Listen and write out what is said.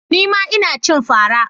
Nima Ina cin fara.